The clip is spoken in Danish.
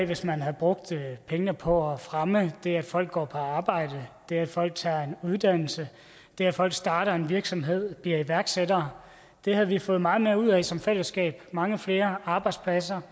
hvis man havde brugt pengene på at fremme det at folk går på arbejde det at folk tager en uddannelse og det at folk starter en virksomhed og bliver iværksættere det havde vi fået meget mere ud af som fællesskab mange flere arbejdspladser